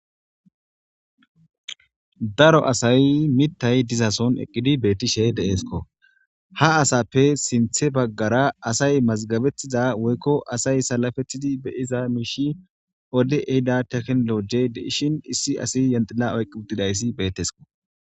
daro asay mittay dizason eqqidi bettishe deeesko ha asappe sinthe baggara asay mazgabettiza woykko asay salafetidi be iza miishi odde ehida teknolo gey de ishin issi asi yenxila oyq uttidayssi bettesko